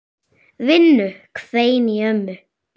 Vinnu hvein í ömmu.